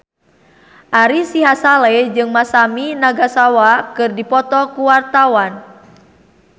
Ari Sihasale jeung Masami Nagasawa keur dipoto ku wartawan